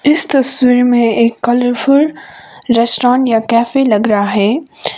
इस तस्वीर में एक कलरफुल रेस्टोरेंट या कैफे लग रहा है।